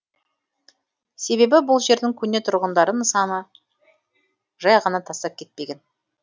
себебі бұл жердің көне тұрғындары нысанды жай ғана тастап кетпеген